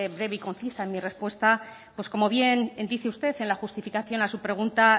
breve y concisa en mi respuesta pues como bien dice usted en la justificación a su pregunta